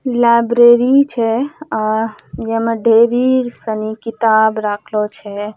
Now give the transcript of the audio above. लाइब्रेरी छे आ जेमें ढ़ेरी सनी किताब राखलो छे।